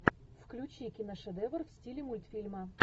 включи киношедевр в стиле мультфильма